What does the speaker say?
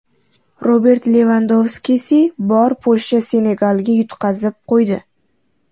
Robert Levandovskisi bor Polsha Senegalga yutqazib qo‘ydi.